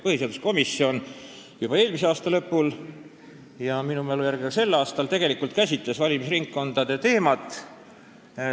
Põhiseaduskomisjon juba eelmise aasta lõpul ja minu mälu järgi ka sel aastal tegelikult käsitles valimisringkondade teemat.